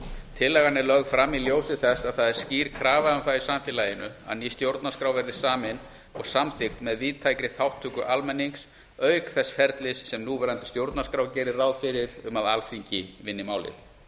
tillagan er lögð fram í ljósi þess að það er skýr krafa um það í samfélaginu að ný stjórnarskrá verði samin og samþykkt með víðtækri þátttöku almennings auk þess ferlis sem núverandi stjórnarskrá gerir ráð fyrir um að alþingi vinni málið